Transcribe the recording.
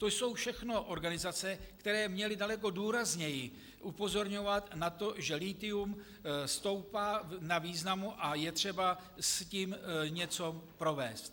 To jsou všechno organizace, které měly daleko důrazněji upozorňovat na to, že lithium stoupá na významu a je třeba s tím něco provést.